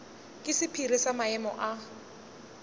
ke sephiri sa maemo a